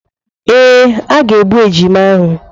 Ee, a ga-egbu ejima ahụ.